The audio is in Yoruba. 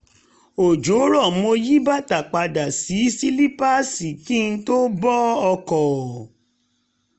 òjò rọ̀ mo yí bàtà padà sí sílípáàsì kí n tó bọ ọkọ̀